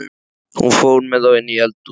Hún fór með þá inní eldhús.